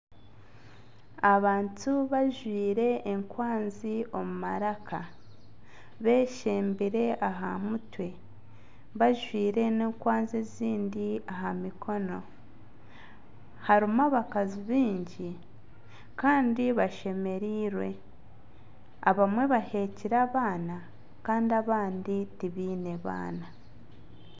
Abantu bajwire enkwanzi omu maraka beshembire aha mutwe bajwire n'enkwanzi ezindi aha mikono. Harimu abakazi bingi Kandi bashemereirwe. Abamwe bahekyire abaana kandi abandi tibiine baana.